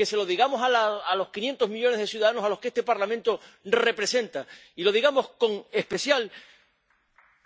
que se lo digamos a los 500 millones de ciudadanos a los que este Parlamento representa y lo digamos con especial